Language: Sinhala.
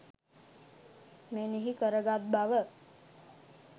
මෙනෙහි කර ගත් බව